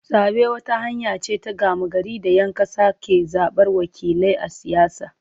Zabe wata hanya ce ta gama gari da ‘yan kasa ke zabar wakilai a siyasa.